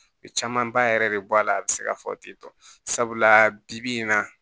camanba yɛrɛ de bɔ a la a bi se ka fɔ ten tɔ sabula bi bi in na